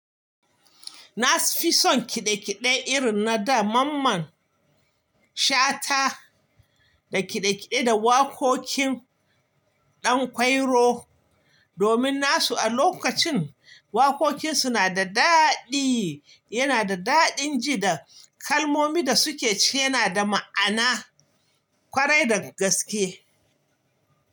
Na fi son kiɗe-kiɗe irin na da mamman Shata da kiɗe-kiɗe da waƙoƙin Ɗan Kwairo domin nasu a lokacin waƙoƙin suna da daɗi, yana da daɗin ji da kalmomin da suke ce yana da ma'ana, ƙwarai da gaske.